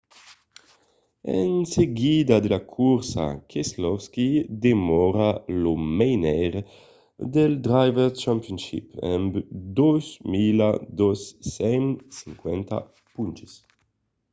en seguida de la corsa keselowski demòra lo menaire del drivers' championship amb 2 250 ponches